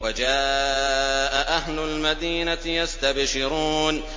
وَجَاءَ أَهْلُ الْمَدِينَةِ يَسْتَبْشِرُونَ